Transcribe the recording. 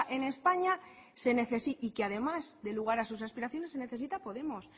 en españa y que además dé lugar a sus aspiraciones se necesita a podemos